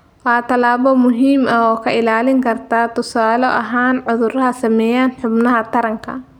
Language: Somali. Waa tallaabo muhiim ah oo kaa ilaalin karta, tusaale ahaan, cudurrada saameeya xubnaha taranka.